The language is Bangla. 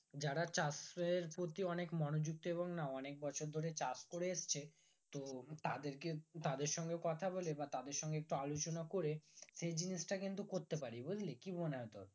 যারা চাষের প্রতি অনেক মনোযুক্ত এবং না অনেক বছর ধরে চাষ করে এসেছে তো তাদের কে তাদের সঙ্গে কথা বলে বা তাদের সঙ্গে একটু আলোচনা করে সেই জিনিসটা কিন্তু করতে পারি বুজলি কি মনে হয় তোর